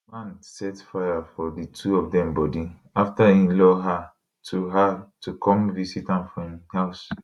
di man set fire for di two of dem bodi afta e lure her to her to come visit am for im house